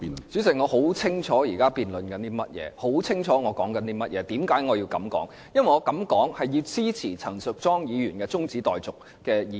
主席，我很清楚現正辯論的是甚麼，也很清楚自己在說些甚麼及為何要這樣說，我的目的是要支持陳淑莊議員提出的中止待續議案。